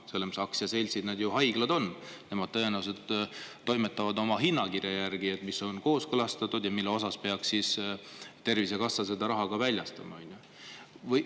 Need haiglad on ju aktsiaseltsid, nemad tõenäoliselt toimetavad oma hinnakirja järgi, mis on kooskõlastatud ja mille järgi peaks Tervisekassa seda raha ka väljastama.